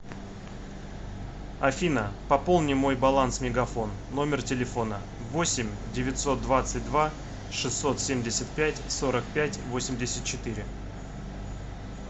афина пополни мой баланс мегафон номер телефона восемь девятьсот двадцать два шестьсот семьдесят пять сорок пять восемьдесят четыре